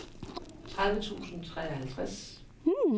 tredive tusind og treoghalvtreds